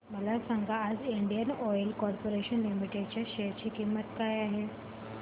मला सांगा आज इंडियन ऑइल कॉर्पोरेशन लिमिटेड च्या शेअर ची किंमत काय आहे